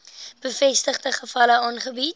bevestigde gevalle aangebied